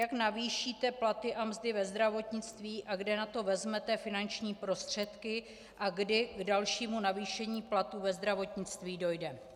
Jak navýšíte platy a mzdy ve zdravotnictví a kde na to vezmete finanční prostředky a kdy k dalšímu navýšení platů ve zdravotnictví dojde?